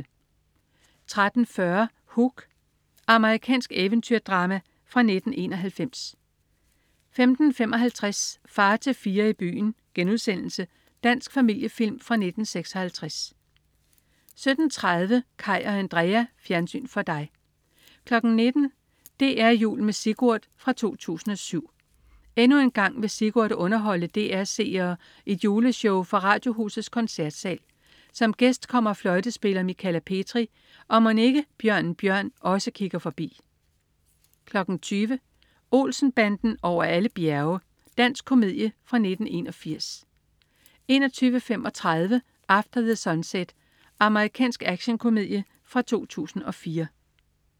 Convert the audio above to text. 13.40 Hook. Amerikansk eventyrdrama fra 1991 15.55 Far til fire i byen.* Dansk familiefilm fra 1956 17.30 Kaj og Andrea. Fjernsyn for dig 19.00 DR Jul med Sigurd 2007. Endnu en gang vil Sigurd underholde DR's seere i et juleshow fra Radiohusets Koncertsal. Som gæst kommer fløjtespiller Michala Petri, og mon ikke Bjørnen Bjørn også kigger forbi? 20.00 Olsen-banden over alle bjerge. Dansk komedie fra 1981 21.35 After the Sunset. Amerikansk actionkomedie fra 2004